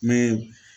Mɛ